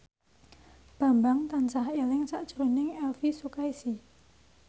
Bambang tansah eling sakjroning Elvi Sukaesih